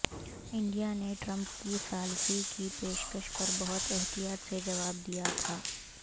India نے Trump کی ثالثی کی پیشکش پر بہت احتیاط سے جواب دیا تھا